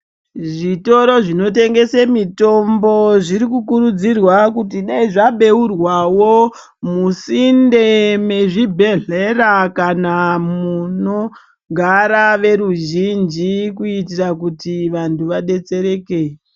Zvitoro zvinotengese mitombo zvirikukurudzirwa kuti dai zvabeurwawo musinde mezvibhedhlera kana munogara veruzhinji kuitira kuti vantu vadetsereke.